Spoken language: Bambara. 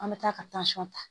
An bɛ taa ka ta